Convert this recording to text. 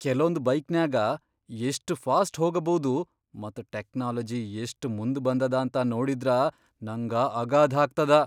ಕೆಲೊಂದ್ ಬೈಕ್ನ್ಯಾಗ ಎಷ್ಟ್ ಫಾಸ್ಟ್ ಹೋಗಭೌದು ಮತ್ ಟೆಕ್ನಾಲಜಿ ಎಷ್ಟ್ ಮುಂದ್ ಬಂದದ ಅಂತ ನೋಡಿದ್ರ ನಂಗ ಅಗಾಧಾಗ್ತದ.